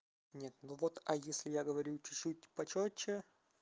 нет ну вот а если я говорю чуть-чуть почётче